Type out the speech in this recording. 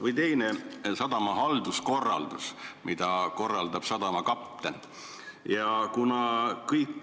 Või teine teema: sadama halduskorraldus, mida korraldab sadama kapten.